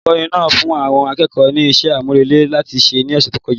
Olùkọ́ni náà fún àwọn akẹ́kọ̀ọ́ ní iṣẹ́ àmúrelé láti ṣe ní ọ̀sẹ̀ tó kọjá